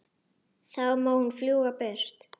Þá má hún fljúga burtu.